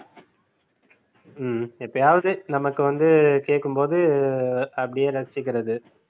ஹம் எப்பயாவது நமக்கு வந்து கேட்கும் போது அப்படியே ரசிச்சிக்கிறது